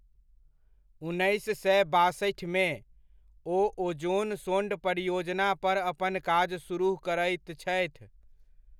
उन्नैस सए बासठिमे, ओ ओज़ोनसोंड परियोजना पर अपन काज सुरुह करैत छथि।